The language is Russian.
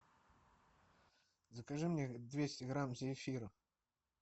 закажи мне двести грамм зефира